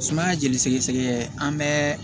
Sumaya jeli sɛgɛsɛgɛ an bɛɛ